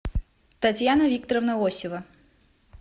татьяна викторовна осева